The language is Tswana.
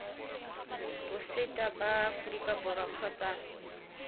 botseta ba aforika borwa kgotsa